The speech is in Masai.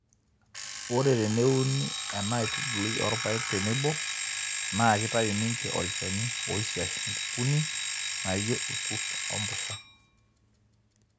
Ore teneuni ena aitubului oorpaek tenebo, naa ketayu ninche olchani ooisiash nkukuni naaijio nkurt o mpushan.